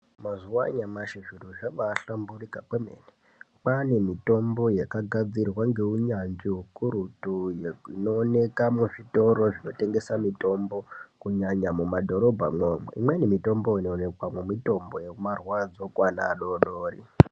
Mazuva anyamashi zviro zvabahlamburika kwemene. Kwane mitombo yakagadzirwa ngeunyanzvi hukurutu. Inooneka muzvitoro zvinotengesa mitombo kunyanya mumadhorobha mwomwo imweni mitombo inoonekwamwo mitombo yemarwadzo kuvana vadodori.